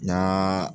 Naa